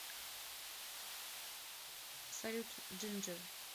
салют джинджер